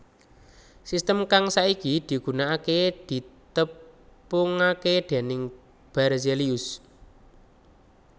Sistem kang saiki digunakaké ditepungaké dèning Berzelius